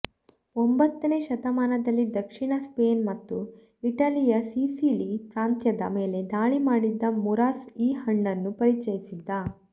ಒಂಬತ್ತನೇ ಶತಮಾನದಲ್ಲಿ ದಕ್ಷಿಣ ಸ್ಪೇನ್ ಮತ್ತು ಇಟಲಿಯ ಸಿಸಿಲಿ ಪ್ರಾಂತ್ಯದ ಮೇಲೆ ದಾಳಿ ಮಾಡಿದ್ದ ಮೂರಾಸ್ ಈ ಹಣ್ಣನ್ನು ಪರಿಚಯಿಸಿದ್ದ